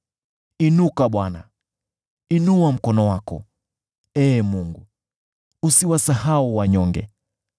Inuka Bwana ! Inua mkono wako, Ee Mungu. Usiwasahau wanyonge.